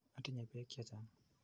Atinye peek che chang'.